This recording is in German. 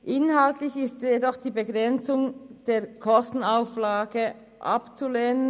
Inhaltlich ist jedoch die Aufhebung der Begrenzung der Kostenauflage abzulehnen.